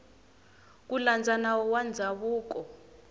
ku landza nawu wa ndzhavuko